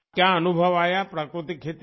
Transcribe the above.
क्या अनुभव आया प्राकृतिक खेती में